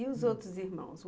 E os outros irmãos?